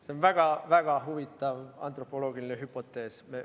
See on väga huvitav antropoloogiline hüpotees.